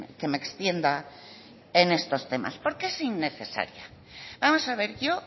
que me extienda en estos temas por qué es innecesaria vamos a ver yo